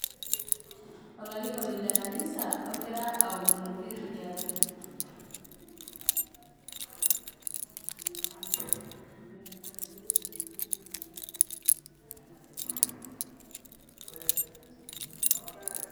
olarikoni le kani ogira aomonoki inkera